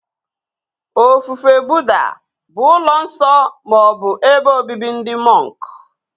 Ofufe Buddha bụ n'ụlọ nsọ ma ọ bụ ebe obibi ndị mọnk